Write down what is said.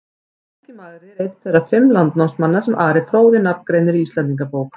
Helgi magri er einn þeirra fimm landnámsmanna sem Ari fróði nafngreinir í Íslendingabók.